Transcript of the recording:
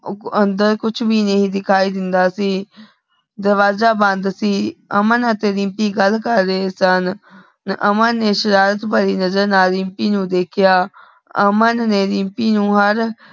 ਅੰਦਰ ਕੁਛ ਵੀ ਨਹੀ ਦਿਖਾਈ ਦੇਂਦਾ ਸੀ ਦਰਵਾਜ਼ਾ ਬੰਦ ਸੀ ਅਮਨ ਅਤੀ ਦਿਮ੍ਪੀ ਗਲ ਕਰ ਰਹੀ ਸਨ ਅਮਨ ਨੇ ਸ਼ਰਾਰਤ ਭੈਰ ਨਜ਼ਰ ਨਾਲ ਦਿਮ੍ਪੀ ਨੂ ਦੇਖ੍ਯਾ ਅਮਨ ਨੇ ਦਿਮ੍ਪੀ ਨੂ ਹਰ